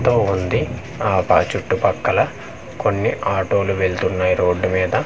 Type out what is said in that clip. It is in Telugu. దో ఉంది ఆ బ చుట్టుపక్కల కొన్ని ఆటోలు వెళ్తున్నాయి రోడ్డు మీద--